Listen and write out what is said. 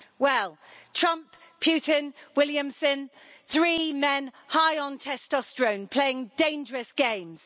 Well, Trump, Putin, Williamson three men high on testosterone playing dangerous games.